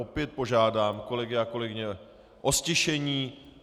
Opět požádám kolegy a kolegyně o ztišení.